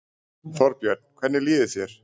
Þorbjörn: Hvernig líður þér?